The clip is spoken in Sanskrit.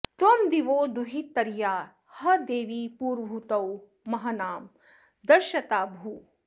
त्वं दि॑वो दुहित॒र्या ह॑ दे॒वी पू॒र्वहू॑तौ मं॒हना॑ दर्श॒ता भूः॑